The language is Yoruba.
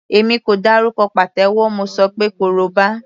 Èmi kò dárúkọ pàtẹ́wọ́, mo ṣọ pé koroba.